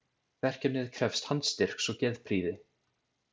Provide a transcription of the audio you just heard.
Verkefnið krefst handstyrks og geðprýði.